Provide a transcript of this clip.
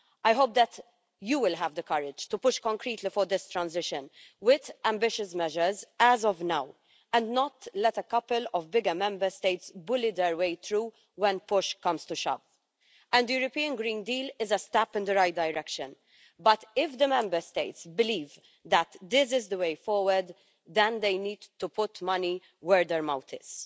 I hope that you will have the courage to push concretely for this transition with ambitious measures as of now and not let a couple of bigger Member States bully their way through when push comes to shove. The European Green Deal is a step in the right direction, but if the Member States believe that this is the way forward, then they need to put money where their mouth is.